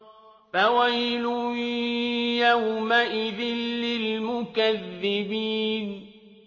فَوَيْلٌ يَوْمَئِذٍ لِّلْمُكَذِّبِينَ